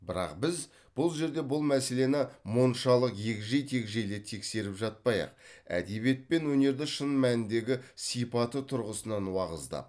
бірақ біз бұл жерде бұл мәселені мұншалық егжей тегжейлі тексеріп жатпай ақ әдебиет пен өнерді шын мәніндегі сипаты тұрғысынан уағыздап